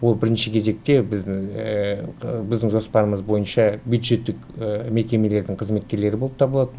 ол бірінші кезекте біздің жоспарымыз бойынша бюджеттік мекемелердің қызметкерлері болып табылады